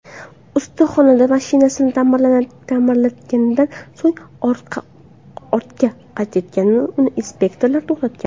Ustaxonada mashinasini ta’mirlatganidan so‘ng ortga qaytayotganida uni inspektorlar to‘xtatgan.